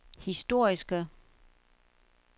historiske